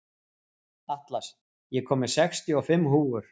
Atlas, ég kom með sextíu og fimm húfur!